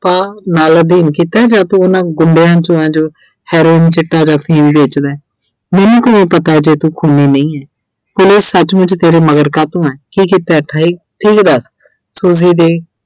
ਆਹ ਨਾਲ ਅਧੀਨ ਕੀਤਾ ਜਾਂ ਤੂੰ ਉਹਨਾਂ ਗੁੰਡਿਆਂ 'ਚੋਂ ਐ ਜੋ Herion, ਚਿੱਟਾ ਜਾਂ ਅਫ਼ੀਮ ਵੇਚਦੈ। ਮੈਨੂੰ ਕਿਵੇਂ ਪਤਾ ਜੇ ਤੂੰ ਖੂਨੀ ਨਹੀਂ ਐ ਫਿਰ ਇਹ ਸਚਮੁੱਚ ਤੇਰੇ ਮਗਰ ਕਾਤੋਂ ਐ ਕੀ ਕੀਤੈ ਈ , ਤੂੰ ਇਹ ਦੱਸ Suji ਦੇ